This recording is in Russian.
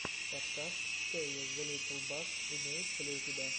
подкаст тэйо зе литтл бас имеется ли у тебя